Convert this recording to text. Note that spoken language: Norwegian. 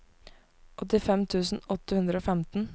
åttifem tusen åtte hundre og femten